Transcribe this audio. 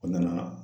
O nana